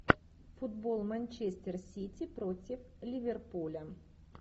футбол манчестер сити против ливерпуля